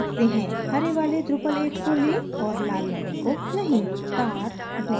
हरे वाले drupal 8 को लें और लाल वाले को नहीं